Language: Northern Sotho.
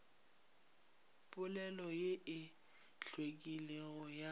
polelo ye e hlwekilego ya